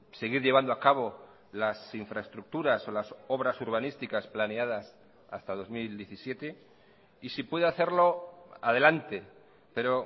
seguir llevando a cabo las infraestructuras o las obras urbanísticas planeadas hasta dos mil diecisiete y si puede hacerlo adelante pero